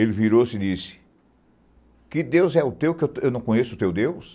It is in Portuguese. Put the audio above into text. Ele virou-se e disse, que Deus é o teu, que eu não conheço o teu Deus?